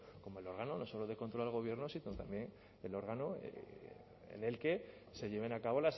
como el órgano no solo de control al gobierno sino también el órgano en el que se lleven a cabo